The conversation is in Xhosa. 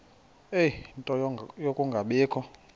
ie nto yokungabikho